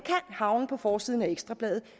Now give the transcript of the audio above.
havne på forsiden af ekstra bladet